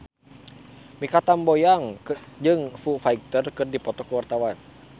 Mikha Tambayong jeung Foo Fighter keur dipoto ku wartawan